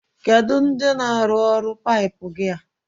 Kedu ndi na-arụrụ ọrụ paipu gi a?